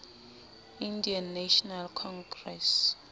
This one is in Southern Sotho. indian national congress